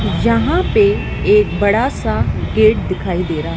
यहां पर एक बड़ा सा गेट दिखाई दे रहा है।